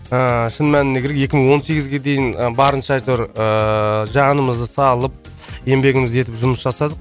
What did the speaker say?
ыыы шын мәніне керек екі мың он сегізге дейін ы барынша әйтеуір ыыы жанымызды салып еңбегімізді етіп жұмыс жасадық